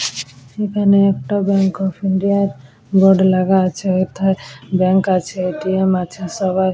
এখানে একটা bank of India -র বোর্ড লাগা আছে অর্থাৎ ব্যাংক আছে এ.টি.এম. আছে সবাই--